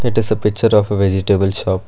it is a picture of a vegetable shop.